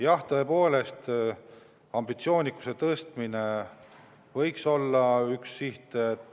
Jah, tõepoolest ambitsioonikuse tõstmine võiks olla üks siht.